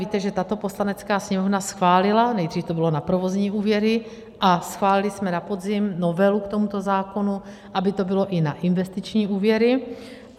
Víte, že tato Poslanecká sněmovna schválila, nejdřív to bylo na provozní úvěry, a schválili jsme na podzim novelu k tomuto zákonu, aby to bylo i na investiční úvěry.